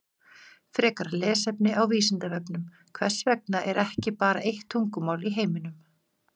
Frekara lesefni á Vísindavefnum Hvers vegna er ekki bara eitt tungumál í heiminum?